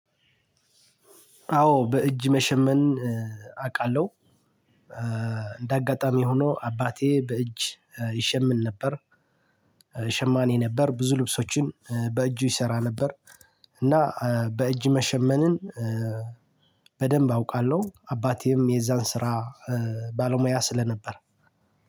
አዎ በእጅ መሸመን አቃለው እንደአጋጣሚ ሁኖ አባቴ ብእጅ ይሽምን ነበር ሸማኔ ነበር ብዙ ልብሶችን በእጁ ይሰራ ነበር እና በእጅ መሸመንን በድንብ አውቃለው አባቴም የዛን ስራ ባለ ሙያ ስለነበር።